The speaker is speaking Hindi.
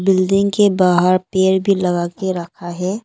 बिल्डिंग के बाहर पेड़ भी लगा के रखा है।